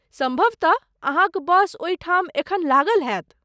सम्भवतः अहाँक बस ओहिठाम एखन लागल हेत ।